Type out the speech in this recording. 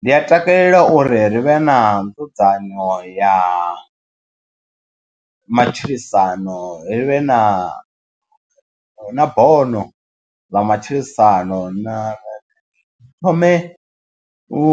Ndi a takalela uri ri vhe na nzudzanyo ya matshilisano ri vhe na na bono ḽa matshilisano na thome u